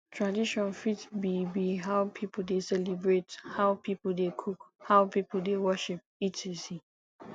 tradition fit be be how pipo de celebrate how pipo de cook how pipo de worship etc